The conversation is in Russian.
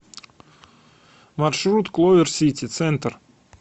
маршрут кловер сити центр